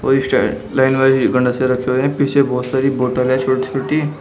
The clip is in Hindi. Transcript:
लाइन वाइज रखे हुए हैं पीछे बोहोत सारी बोतल है छोटी-छोटी।